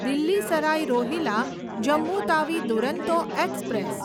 Delhi Sarai Rohilla Jammu Tawi Duronto express